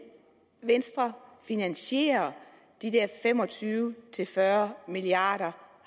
venstre finansiere de der fem og tyve til fyrre milliard kr